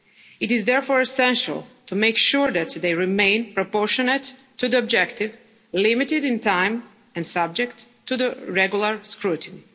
rule of law. It is therefore essential to make sure that they remain proportionate to the objective, limited in time and subject to regular